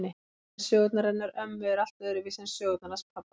En sögurnar hennar ömmu eru allt öðruvísi en sögurnar hans pabba.